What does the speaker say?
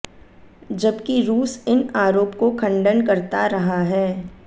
जबकि रुस इन आरोप को खंडन करता रहा है